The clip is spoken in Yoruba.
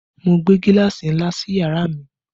Mo gbé gíláàsì ńlá sí yàrá mi